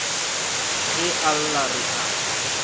ge a lla re a